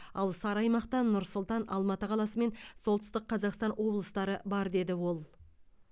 ал сары аймақта нұр сұлтан алматы қаласы мен солтүстік қазақстан облыстары бар деді ол